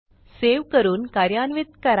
save करून कार्यान्वित करा